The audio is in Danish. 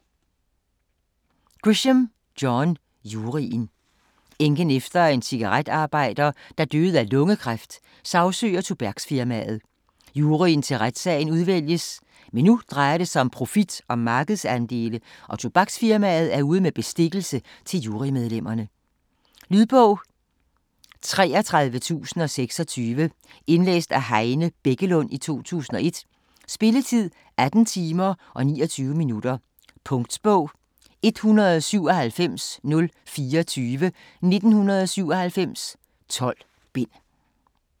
Grisham, John: Juryen Enken efter en cigaretarbejder, der døde af lungekræft, sagsøger tobaksfirmaet. Juryen til retssagen udvælges, men nu drejer det sig om profit og markedsandele, og tobaksfirmaet er ude med bestikkelse til jury-medlemmerne. Lydbog 33026 Indlæst af Heine Bækkelund, 2001. Spilletid: 18 timer, 29 minutter. Punktbog 197024 1997. 12 bind.